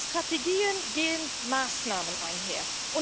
Und mit Strategien gehen Maßnahmen einher.